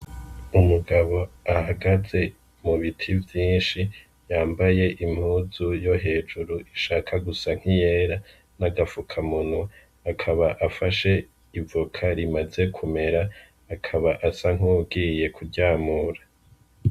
Umugabo ahagaze mubiti vyinshi ,yambaye impuzu yo hejuru ishaka gusa nk'iyera, n'agafukamunwa, akaba afashe ivoka rimaze kumera, akaba asa nk'uwugiye kuryamura.